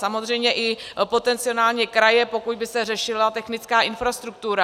Samozřejmě i potenciálně kraje, pokud by se řešila technická infrastruktura.